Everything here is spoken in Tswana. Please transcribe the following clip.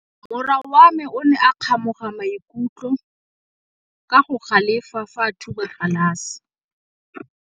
Morwa wa me o ne a kgomoga maikutlo ka go galefa fa a thuba galase.